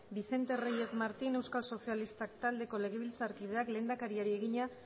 vicente reyes martín euskal sozialistak taldeko legebiltzarkideak lehendakariari egina